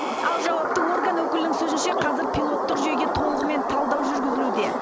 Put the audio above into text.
ал жауапты орган өкілінің сөзінше қазір пилоттық жүйеге толығымен талдау жүргізілуде